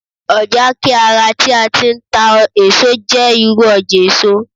ọja ke ara ti a ti n ta eso je iru ọjà èso